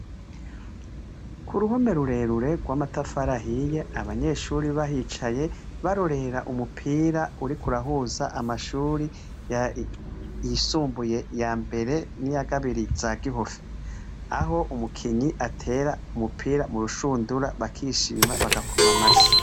Ku ruhome rurerure rw'amatafari ahiye ,abanyeshure bahicaye , barorera umupira uriko urahuza amashuri y' isumbuye iya mbere n' iya kabiri za Gihosha .Aho umukinyi atera umupira mu rushundura bakishima, bagakoma amashi.